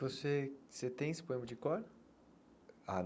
Você você tem esse poema de cor? Ah